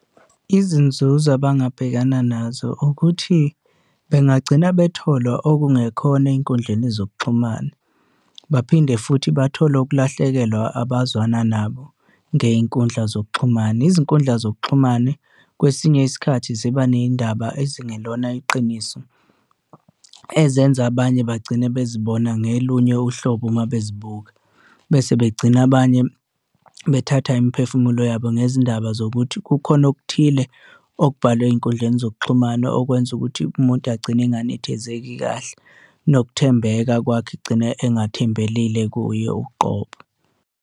Izinzuzo abangabhekana nazo ukuthi bengagcina bethola okungekhona ey'nkundleni zokuxhumana, baphinde futhi bathole ukulahlekelwa abazwana nabo ngey'nkundla zokuxhumana. Izinkundla zokuxhumane kwesinye isikhathi ziba ney'ndaba ezingelona iqiniso ezenza abanye bagcine bezibona ngelunye uhlobo uma bezibuka, bese begcina abanye bethatha imiphefumulo yabo. Ngezindaba zokuthi kukhona okuthile okubhalwe ey'nkundleni zokuxhumana okwenza ukuthi umuntu agcine enganethezeki kahle nokuthembeka kwakhe egcine engathembelile kuyo uqobo.